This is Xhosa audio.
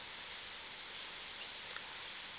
apha evekini aze